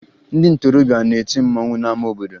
Ndị ntorobịa na-eti mmanwụ n'ama obodo